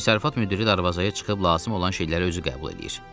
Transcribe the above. Təsərrüfat müdiri darvazaya çıxıb lazım olan şeyləri özü qəbul eləyir.